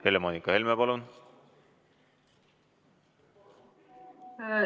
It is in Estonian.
Helle-Moonika Helme, palun!